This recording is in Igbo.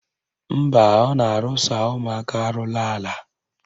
Mba, ọ na-arụsa ụmụaka arụla ala